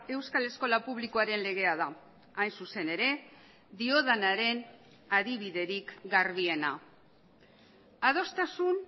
euskal eskola publikoaren legea da hain zuzen ere diodanaren adibiderik garbiena adostasun